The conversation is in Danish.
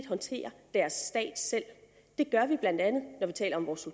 håndterer deres stat selv det gør vi bla når vi taler om vores